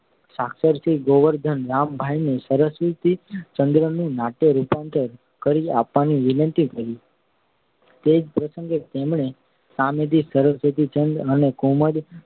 સાક્ષર શ્રી ગોવર્ધનરામભાઈને સરસ્વતીચંદ્ર નું નાટ્યરૂપાંતર કરી આપવાની વિનંતી કરી. તે જ પ્રસંગે તેમણે સામેથી સરસ્વતીચંદ્ર અને કુમુદ